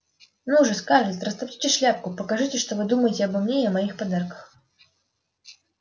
ну же скарлетт растопчите шляпку покажите что вы думаете обо мне и о моих подарках